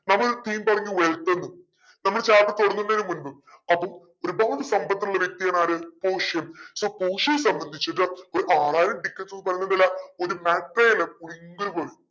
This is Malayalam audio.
നമ്മൾ നമ്മൾ chapter തുടങ്ങുന്നതിന് മുമ്പ് അപ്പോ ഒരുപാട് സമ്പത്തുള്ള വ്യക്തി ആണ് ആര് പോഷിയ so പോഷിയയെ സംബന്ധിച്ചിട്ടു ഒരു ആറായിരം tickets ന്ന് പറയുന്നത്